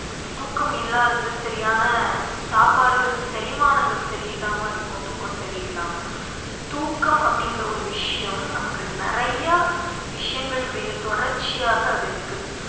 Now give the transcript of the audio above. இந்த தூக்கம் இல்லாதது சரியான சாப்பாடுகள் செரிமானங்கள் சரியில்லாம இருக்கும் தூக்கம் சரியில்லாம so தூக்கம் அப்படிங்கிற ஒரு விஷயம் நமக்கு நிறைய விஷயங்கள் மீது தொடர்ச்சியாக அது இருக்குது